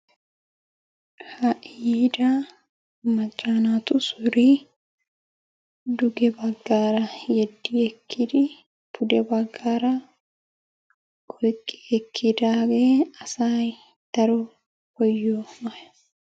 Ha'i yiida macca naatu suree duge baggaara yedi ekkidi pude baggaara oyqqi ekkidaagee asay daro koyiyoo maayo.